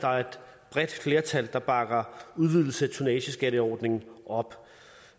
bredt flertal der bakker udvidelse af tonnageskatteordningen op